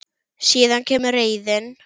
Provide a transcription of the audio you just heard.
Síðan kemur reiðin.